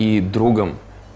и другом